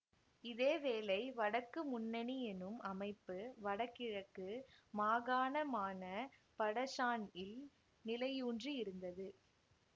இதேவேளை வடக்கு முண்ணனி எனும் அமைப்பு வடகிழக்கு மாகானமான படக்ஷான்இல் நிலையூன்றி இருந்தது